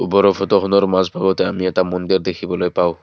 ফটোখনৰ মাজভাগতে আমি এটা মন্দিৰো দেখিবলৈ পাওঁ।